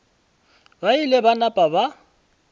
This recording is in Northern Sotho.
ba ile ba napa ba